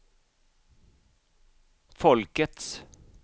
folkets